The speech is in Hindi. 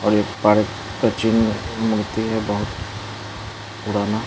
और एक पार्क का चिन्ह मूर्ति है बहुत पुराना।